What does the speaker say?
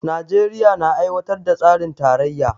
Najeriya na aiwatar da tsarin tarayya